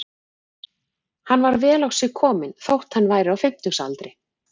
Hann var vel á sig kominn þótt hann væri á fimmtugsaldri.